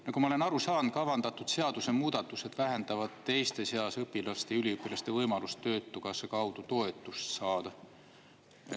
Nagu ma olen aru saanud, kavandatud seadusemuudatused vähendavad teiste seas õpilaste ja üliõpilaste võimalust Töötukassa kaudu toetust saada.